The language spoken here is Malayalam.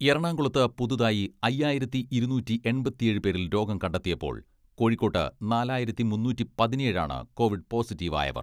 എറണാകുളത്ത് പുതുതായി അയ്യായിരത്തി ഇരുന്നൂറ്റി എൺപത്തിയേഴ് പേരിൽ രോഗം കണ്ടെത്തിയപ്പോൾ കോഴിക്കോട്ട് നാലായിരത്തി മുന്നൂറ്റി പതിനേഴ് ആണ് കോവിഡ് പോസിറ്റീവായവർ.